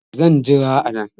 Zan jira a nan